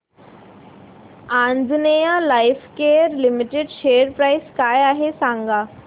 Anjaneya lifecare limited share price काय आहे सांगा